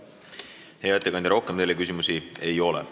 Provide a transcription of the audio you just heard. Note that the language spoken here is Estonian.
Hea ettekandja, rohkem teile küsimusi ei ole.